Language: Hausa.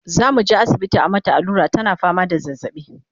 zamuje asibiti a mata allura tana fama da zazzaɓi